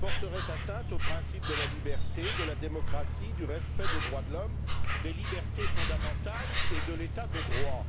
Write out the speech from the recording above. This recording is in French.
porteraient atteinte aux principes de la liberté, de la démocratie, du respect des droits de l'homme, des libertés fondamentales et de l'état de droit.